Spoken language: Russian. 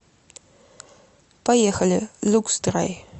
поехали люксдрай